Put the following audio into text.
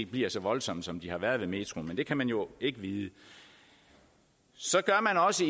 bliver så voldsomme som de har været med metroen men det kan man jo ikke vide så gør man også